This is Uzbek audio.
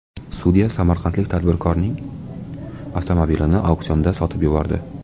Sudya samarqandlik tadbirkorning avtomobilini auksionda sotib yubordi.